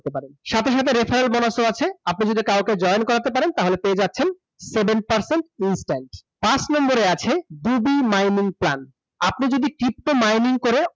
সাথে সাথে referral bonus ও আছে । আপনি যদি কাউকে join করাতে পারেন তাহলে পেয়ে যাচ্ছেন seven percent । পাঁচ নাম্বারে আছে, mining plant । আপনি যদি pto mining করে